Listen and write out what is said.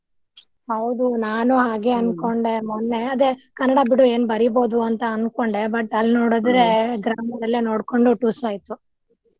ಹೌದು ನಾನು ಹಾಗೆ ಅನ್ಕೊಂಡೆ ಮೊನ್ನೆ ಅದೆ ಕನ್ನಡ ಬಿಡು ಏನ್ ಬರಿಬಹ್ದು ಅಂತಾ ಅನ್ಕೊಂಡೆ but ಅಲ್ಲಿ ನೋಡಿದ್ರೆ grammar ಎಲ್ಲಾ ನೋಡ್ಕೊಂಡು ಟುಸ್ ಆಯ್ತು.